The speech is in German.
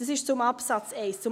Das zu Absatz 1.